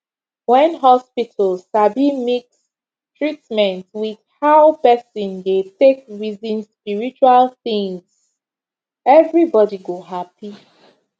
when hospital sabi mix treatment with how person dey take reason spiritual things everybody go happy